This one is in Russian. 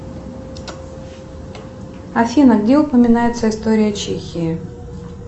афина где упоминается история чехии